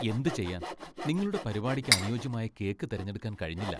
എന്തു ചെയ്യാൻ! നിങ്ങളുടെ പരിപാടിക്ക് അനുയോജ്യമായ കേക്ക് തിരഞ്ഞെടുക്കാൻ കഴിഞ്ഞില്ല.